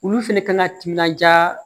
Olu fɛnɛ kan ŋa timinanja